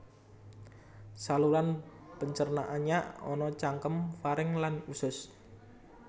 Saluran pencernaannya ana cangkem faring lan usus